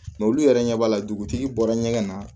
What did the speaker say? Nga olu yɛrɛ ɲɛ b'a la dugutigi bɔra ɲɛgɛn na